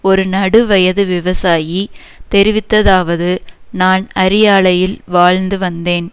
ஒரு நடு வயது விவசாயி தெரிவித்ததாவது நான் அரியாலையில் வாழ்ந்து வந்தேன்